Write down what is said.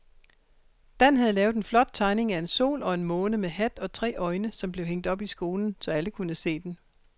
Dan havde lavet en flot tegning af en sol og en måne med hat og tre øjne, som blev hængt op i skolen, så alle kunne se den.